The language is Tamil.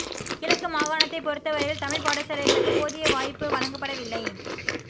கிழக்கு மாகாணத்தை பொறுத்தவரையில் தமிழ் பாடசாலைகளுக்கு போதிய வாய்ப்பு வழங்கப்படவில்லை